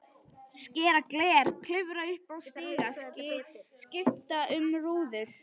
Skera gler, klifra upp í stiga, skipta um rúður.